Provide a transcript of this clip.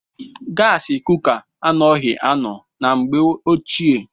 Gaasi kuka anoghi anọ na mgbe ochie.